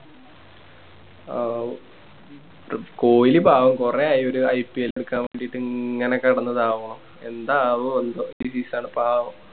കോഹ്ലി പാവം കൊറേ ആയി ഒരു IPL ല് നിക്കാൻ വേണ്ടീട്ട് കൊറേ ആയി ഇങ്ങനെ കെടന്ന് ഇതാവണു എന്താകുവോ എന്തോ പാവം